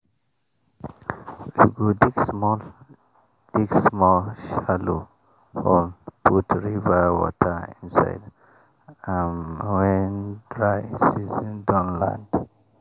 we go dig small dig small shallow hole put river water inside am when dry season don land.